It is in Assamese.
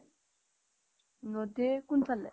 নদীৰ কোন ফালে